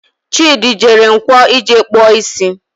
Chidi jere Nkwo ije kpụọ isi